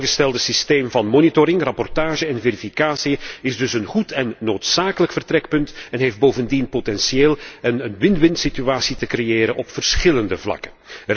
Het voorgestelde systeem van monitoring, rapportage en verificatie is dus een goed en noodzakelijk uitgangspunt en heeft bovendien het potentieel een win winsituatie te creëren op verschillende vlakken.